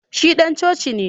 Shi dan coci ne